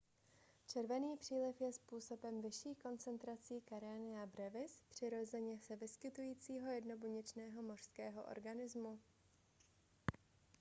červený příliv je způsoben vyšší koncentrací karenia brevis přirozeně se vyskytujícího jednobuněčného mořského organismu